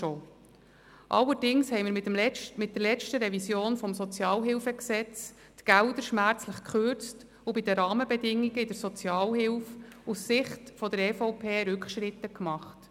Allerdings haben wir die Gelder mit der letzten Revision des SHG schmerzlich gekürzt und bei den Rahmenbedingungen in der Sozialhilfe aus Sicht der EVP Rückschritte gemacht.